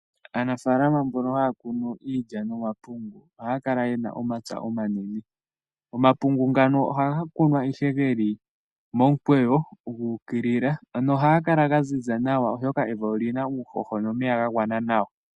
Aanafaalama mbono haya kunu iilya nomapungu ohaya kala ye na omapya omanene. Omapungu ngano ohaga kunwa ihe geli momukweyo gu ukilila. Ohaga kala ga ziza nawa oshoka evi oli na uuhoho nomeya ga gwana nawa.